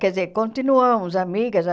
Quer dizer, continuamos amigas ah.